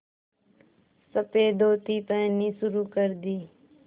सफ़ेद धोती पहननी शुरू कर दी